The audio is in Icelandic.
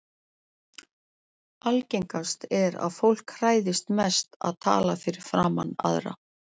Algengast er að fólk hræðist mest að tala fyrir framan aðra.